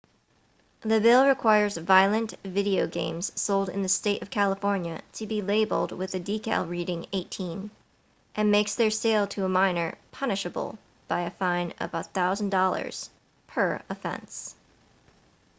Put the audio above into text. the bill requires violent video games sold in the state of california to be labeled with a decal reading 18 and makes their sale to a minor punishable by a fine of $1000 per offense